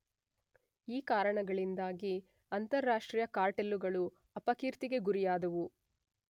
ಈ ಕಾರಣಗಳಿಂದಾಗಿ ಅಂತಾರಾಷ್ಟ್ರೀಯ ಕಾರ್ಟೆಲ್ಲುಗಳು ಅಪಕೀರ್ತಿಗೆ ಗುರಿಯಾದುವು.